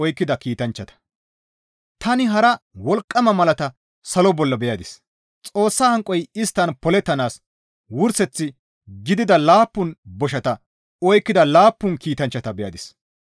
Tani hara wolqqama malata salo bolla beyadis; Xoossa hanqoy isttan polettanaas wurseth gidida laappun boshata oykkida laappun kiitanchchata beyadis.